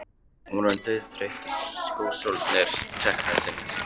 Hún var orðin dauðþreytt og skósólarnir teknir að þynnast.